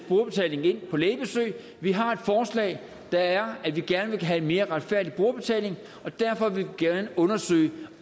brugerbetaling på lægebesøg vi har et forslag der at vi gerne vil have en mere retfærdig brugerbetaling og derfor vil vi gerne undersøge